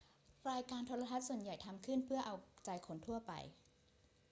รายการโทรทัศน์ส่วนใหญ่ทำขึ้นเพื่อเอาใจคนทั่วไป